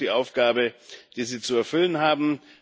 Das ist auch die Aufgabe, die sie zu erfüllen haben.